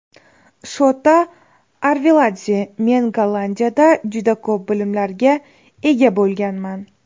Shota Arveladze: Men Gollandiyada juda ko‘p bilimlarga ega bo‘lganman.